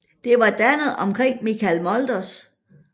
Det var dannet omkring Michel Mulders